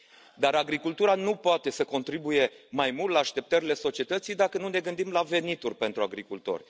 Dar agricultura nu poate să contribuie mai mult la așteptările societății dacă nu ne gândim la venituri pentru agricultori.